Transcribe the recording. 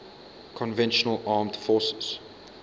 conventional armed forces